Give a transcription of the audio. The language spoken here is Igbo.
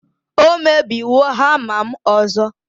o mebiwo hama'm ọzọ